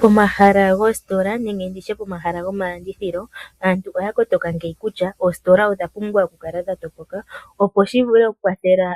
Pomahala goositola nenge nditye pomahala gomalandithilo, aantu oya kotoka ngeyi kutya oositola odha pumbwa okukala dha topoka , opo shi vule okukwathela